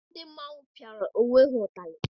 Ndị mmanwụ pịara onwe ha ụtarị.